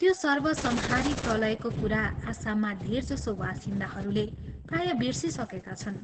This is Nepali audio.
त्यो सर्वसंहारी प्रलयको कुरा आसाममा धेरजसो वासिन्दाहरूले प्रायः बिर्सिसकेका छन्।